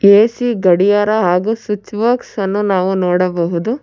AC ಗಡಿಯಾರ ಹಾಗು switch box ಅನ್ನು ನಾವು ನೋಡಬಹುದು.